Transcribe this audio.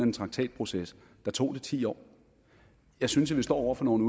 en traktatproces tog det ti år jeg synes vi står over for nogle